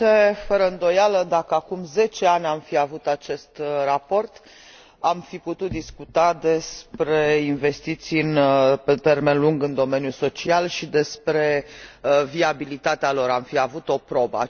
Domnule președinte, fără îndoială, dacă acum zece ani am fi avut acest raport, am fi putut discuta despre investiții pe termen lung în domeniul social și despre viabilitatea lor, am fi avut o probă.